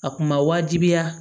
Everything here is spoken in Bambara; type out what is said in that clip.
A kun ma wajibiya